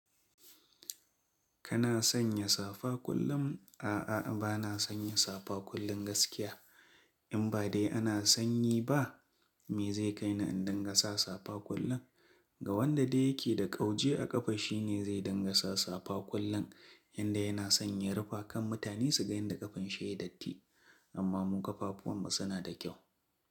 Kana sanya safa kullum? A'a, bana sanya safa kullum gaskiya. In ba dai ana sanyi ba, me zai kai ni in dinga sa safa kullum? Ga wanda dai yake da ƙauje a ƙafa shine zai dinga sa safa kullum, yanda yana son ya rufe kar mutane suga inda ƙafan shi ya datti. Amma mu ƙafafuwanmu suna da kyau.